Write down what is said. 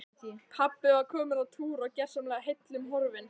Pabbi var kominn á túr og gersamlega heillum horfinn.